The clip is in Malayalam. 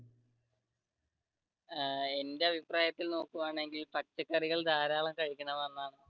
എന്റെ അഭിപ്രായത്തിൽ നോക്കുക ആണെങ്കിൽ പച്ചക്കറികൾ ധാരാളം കഴിക്കണമെന്നാണ്.